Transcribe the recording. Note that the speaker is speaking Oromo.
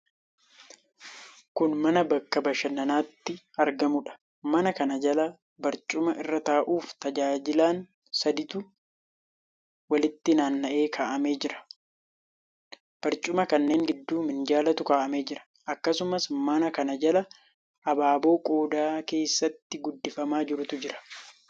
Kun mana bakka bashannanaatti argamuudha. Mana kana jala barcuma irra taa'uuf tajaajilan sadiitu walitti naanna'ee kaa'amee jira. Barcuma kanneen gidduu minjaalatu kaa'amee jira. Akkasumas, mana kana jala abaaboo qodaa keessatti guddifamaa jirutu jira.